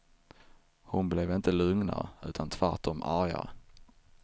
Hon blev inte lugnare utan tvärtom argare.